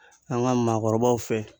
An ga maakɔrɔbaw fɛ